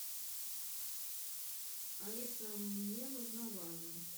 алиса мне нужна ваза